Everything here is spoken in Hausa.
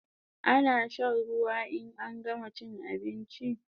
Ana shan ruwa in an gama chin abinchi